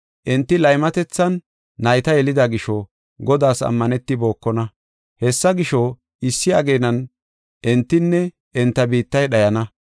Enti laymatethan nayta yelida gisho Godaas ammanetibokona. Hessa gisho, issi ageenan entinne enta biittay dhayana.